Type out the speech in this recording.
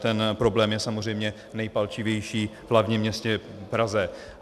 Ten problém je samozřejmě nejpalčivější v hlavním městě Praze.